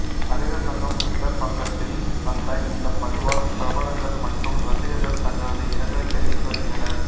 நடிகர் சங்கம் டுவிட்டர் பக்கத்தில் வந்த இந்த பதிவால் பிரபலங்கள் மற்றும் ரசிகர்கள் தங்களது இரங்கலை தெரிவித்து வருகின்றனர்